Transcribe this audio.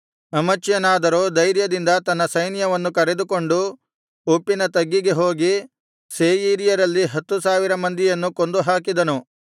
ಅಮಚ್ಯನಾದರೋ ಧೈರ್ಯದಿಂದ ತನ್ನ ಸೈನ್ಯವನ್ನು ಕರೆದುಕೊಂಡು ಉಪ್ಪಿನ ತಗ್ಗಿಗೆ ಹೋಗಿ ಸೇಯೀರ್ಯರಲ್ಲಿ ಹತ್ತು ಸಾವಿರ ಮಂದಿಯನ್ನು ಕೊಂದುಹಾಕಿದನು